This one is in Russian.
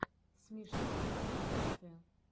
смешные концерты